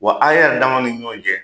Wa a yɛrɛ dama ni ɲɔgɔn cɛ.